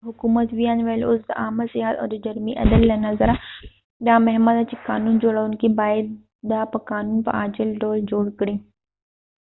د حکومت وياند وويل اوس د عامه صحت او د جرمی عدل له نظره دا مهمه ده چې قانون جوړونکې باید دا په قانون په عاجل ډول جوړ کړي